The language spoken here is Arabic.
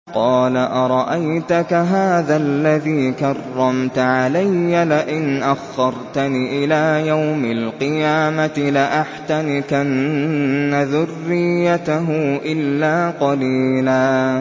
قَالَ أَرَأَيْتَكَ هَٰذَا الَّذِي كَرَّمْتَ عَلَيَّ لَئِنْ أَخَّرْتَنِ إِلَىٰ يَوْمِ الْقِيَامَةِ لَأَحْتَنِكَنَّ ذُرِّيَّتَهُ إِلَّا قَلِيلًا